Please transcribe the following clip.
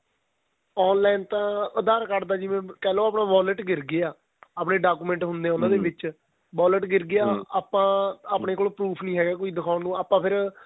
online ਤਾਂ aadhar card ਦਾ ਜਿਵੇਂ ਕਹਿਲੋ ਆਪਣਾ violet ਗਿਰ ਗਿਆ ਆਪਣੇਂ document ਹੁੰਦੇ ਏ ਉਹਨਾ ਦੇ ਵਿੱਚ violet ਗਿਰ ਗਿਆ ਆਪਾਂ ਆਪਣੇ ਕੋਲ professor ਨਹੀਂ ਹੈਗੇ ਕੋਈ ਦਿਖਾਉਣ ਨੂੰ ਆਪਾਂ ਫ਼ਿਰ